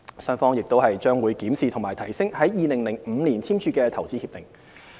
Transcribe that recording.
雙方亦將會檢視和提升於2005年簽署的投資協定。